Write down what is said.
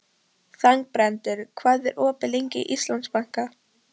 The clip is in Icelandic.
Þangbrandur, hvað er opið lengi í Íslandsbanka?